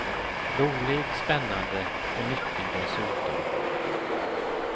Rolig, spännande och nyttig dessutom.